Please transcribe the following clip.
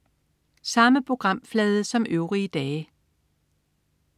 Samme programflade som øvrige dage